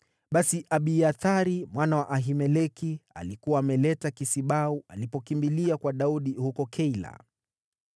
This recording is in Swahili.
(Basi Abiathari mwana wa Ahimeleki alikuwa ameleta kisibau alipokimbilia kwa Daudi huko Keila.)